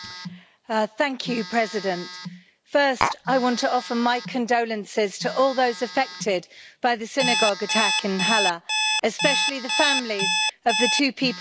Madam President, first I want to offer my condolences to all those affected by the synagogue attack in Halle, especially the families of the two people who were killed.